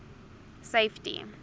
safety